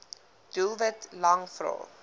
doelwit lang vrae